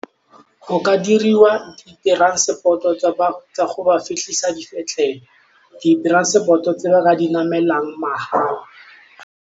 Go ka diriwa transport-o tsa go ba fitlhisa dipetlele, di-transport-o tse ba ka di namelang mahala.